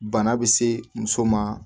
Bana bɛ se muso ma